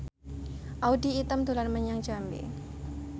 Audy Item dolan menyang Jambi